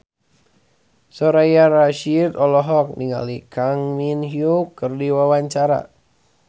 Soraya Rasyid olohok ningali Kang Min Hyuk keur diwawancara